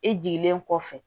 E jiginnen kɔfɛ